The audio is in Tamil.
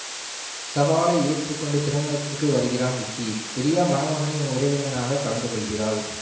சவாலை ஏற்று கொண்டு திருமணத்திற்கு வருகிறான் விக்கி பிரியா மணமகனின் உறவினராக கலந்துகொள்கிறாள்